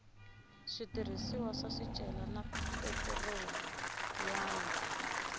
switirhisiwa swa swicelwa na petiroliyamu